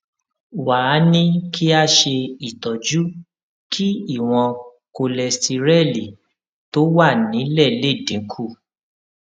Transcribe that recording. wá a ní kí a ṣe itọju kí ìwòn kóléstẹrẹlì tó wà nílè lè dín kù